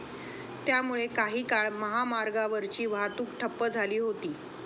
त्यामुळे काही काळ महामार्गावरची वाहतूक ठप्प झाली होती.